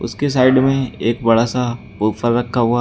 इसके साइड में एक बड़ा सा बुफर रखा हुआ है।